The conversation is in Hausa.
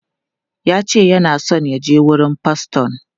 Ya ce yana so ya je wurin faston.